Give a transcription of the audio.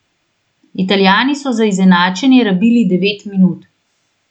Italijani so za izenačenje rabili devet minut.